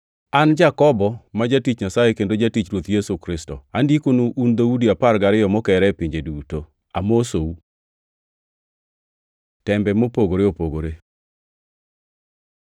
An Jakobo, ma jatich Nyasaye kendo jatich Ruoth Yesu Kristo, Andikonu, un dhoudi apar gariyo mokere e pinje duto: Amosou. Tembe mopogore opogore